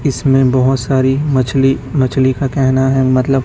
इसमें बहोत सारी मछली मछली का कहना है मतलब--